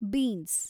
beans